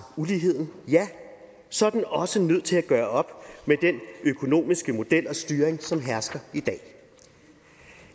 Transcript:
uligheden så er den også nødt til at gøre op med den økonomiske model og styring som hersker